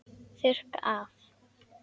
Þurrka af.